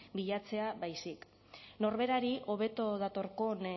bilatzea baizik norberari hobeto datorkion